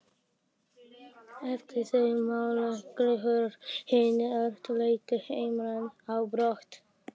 Eftir þessi málalok hurfu hinir erlendu hermenn á brott.